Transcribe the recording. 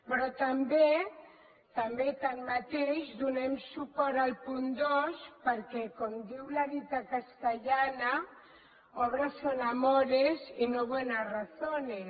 però també tanmateix donem suport al punt dos perquè com diu la dita castellana obras son amores y no buenas razones